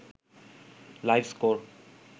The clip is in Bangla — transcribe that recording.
live score